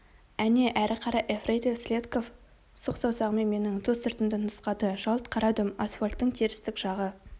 әне әрі қара ефрейтор селедков сұқ саусағымен менің ту сыртымды нұсқады жалт қарадым асфальттың терістік жағы